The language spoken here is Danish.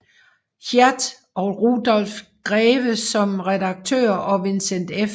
Hieatt og Rudolf Grewe som redaktører og Vincent F